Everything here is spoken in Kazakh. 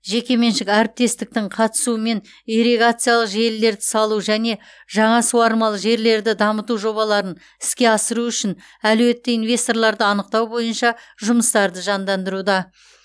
жекеменшік әріптестіктің қатысуымен ирригациялық желілерді салу және жаңа суармалы жерлерді дамыту жобаларын іске асыру үшін әлеуетті инвесторларды анықтау бойынша жұмыстарды жандандыруда